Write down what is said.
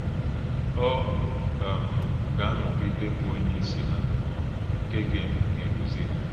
Ọ um gà-anọ̀gìdè bụ́ Ònyéìsì hà um nkè gà na-èdùzì hà.